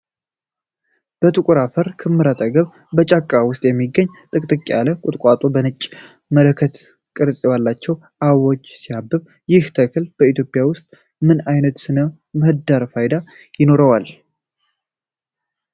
ከጥቁር አፈር ክምር አጠገብ፣ በጫካ ውስጥ የሚገኝ ጥቅጥቅ ያለ ቁጥቋጦ በነጭ መለከት ቅርጽ ባላቸው አበቦች ሲያብብ፣ ይህ ተክል በኢትዮጵያ ውስጥ ምን አይነት ሥነ ምህዳራዊ ፋይዳ ይኖረዋል?